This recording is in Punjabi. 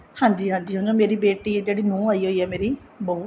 ਹਾਂਜੀ ਹਾਂਜੀ ਹੁਣ ਮੇਰੀ ਬੇਟੀ ਜਿਹੜੀ ਨੂੰਹ ਆਈ ਹੋਈ ਏ ਮੇਰੀ ਬਹੂ